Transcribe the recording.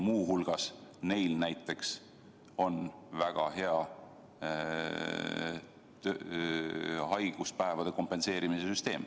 Muu hulgas on neil näiteks väga hea haiguspäevade kompenseerimise süsteem.